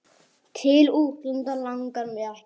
Til útlanda langar mig ekki.